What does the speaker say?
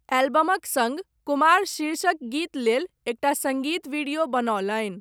एल्बमक सङ्ग, कुमार शीर्षक गीत लेल एकटा सङ्गीत वीडियो बनओलनि।